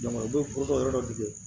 Jamanadenw fo ka yɔrɔ dɔ de